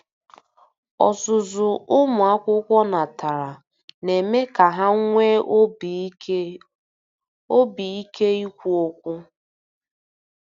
Ọzụzụ ụmụ akwụkwọ natara na-eme ka ha nwee obi ike obi ike ikwu okwu.